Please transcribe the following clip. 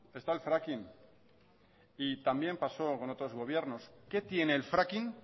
está el fracking y también pasó con otros gobiernos qué tiene el fracking